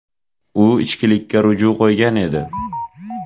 U ichkilikka ruju qo‘ygan edi.